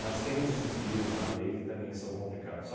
Mas tem uns desvios na lei que também são complicados.